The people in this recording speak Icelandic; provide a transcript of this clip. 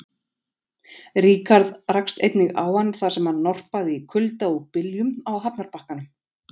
Ríkharð rakst einnig á hann, þar sem hann norpaði í kulda og byljum á hafnarbakkanum.